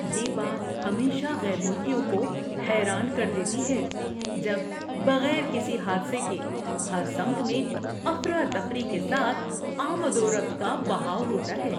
یہ بات ہمیشہ غیر ملکیوں کو حیران کر دیتی ہے جب بغیر کسی حادثے کے ہر سمت میں افراتفری کے ساتھ آمد و رفت کا بہاؤ ہوتا ہے۔